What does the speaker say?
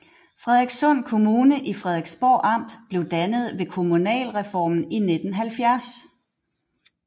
Frederikssund Kommune i Frederiksborg Amt blev dannet ved kommunalreformen i 1970